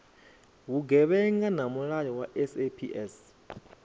vhugevhenga na mulayo wa saps